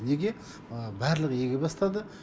неге барлығы еге бастады